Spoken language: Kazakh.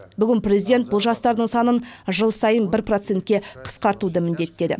бүгін президент бұл жастардың санын жыл сайын бір процентке қысқартуды міндеттеді